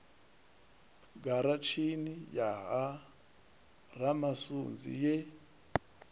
giratshini ya ha ramasunzi ye